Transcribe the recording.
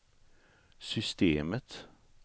systemet